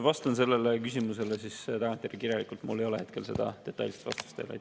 Vastan sellele küsimusele tagantjärgi kirjalikult, mul ei ole hetkel detailset vastust teile.